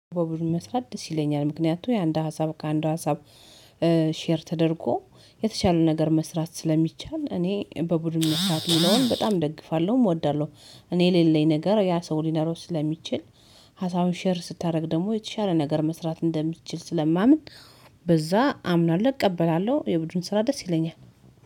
በቡድን መስራት ደስ ይለኛል ምክንያቱም የአንድ ሀሳብ ከአንድ ሀሳብ ሼር ተደርጎ የተቻለ ነገር መስራት ስለሚቻል እኔ በቡድን መስራት የሚለውን በጣም ደግፋለሁ፤ እወዳለሁ። እኔ የሌለኝ ነገር ያ ሰው ሊኖር ስለሚችል ሀሳቡን ሼር ስታደርግ ደግሞ የተሻለ ነገር መስራት እንደሚችል ስለማምን በዛ አምናለ፤ እቀበላለሁ የቡድን ስራ ደስ ይለኛል።